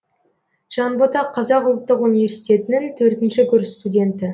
жанбота қазақ ұлттық университетінің төртінші курс студенті